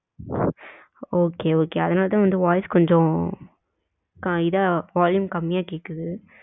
okay, okay அதனால தான் வந்து voice கொஞ்சம் இதா volume கம்மியா கேக்குது.